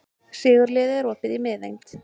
Sigurliði, er opið í Miðeind?